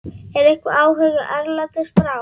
Er einhver áhugi erlendis frá?